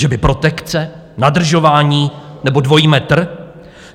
Že by protekce, nadržování nebo dvojí metr?